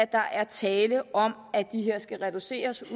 der er tale om at de her skal reduceres